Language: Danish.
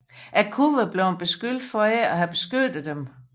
Jeg kunne være blevet beskyldt for ikke at have beskyttet dem